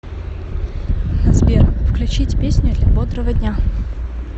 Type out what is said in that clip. сбер включить песню для бодрого дня